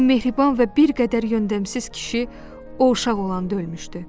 Bu mehriban və bir qədər yöndəmsiz kişi o uşaq olanda ölmüşdü.